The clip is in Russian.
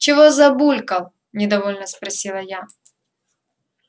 чего забулькал недовольно спросила я